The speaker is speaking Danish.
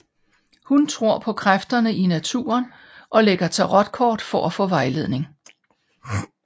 Hun tror på kræfterne i naturen og lægger tarotkort for at få vejledning